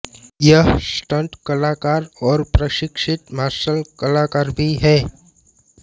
यह स्टंट कलाकार और प्रशिक्षित मार्शल कलाकार भी हैं